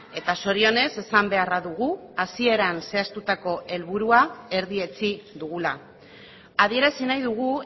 eta zorionez esan beharra dugu hasieran zehaztutako helburua erdietsi dugula adierazi nahi dugu